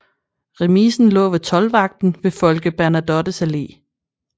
Remisen lå ved toldvagten ved Folke Bernadottes Allé